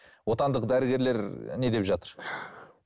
отандық дәрігерлер не деп жатыр